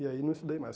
E aí não estudei mais.